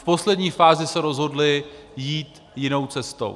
V poslední fázi se rozhodli jít jinou cestou.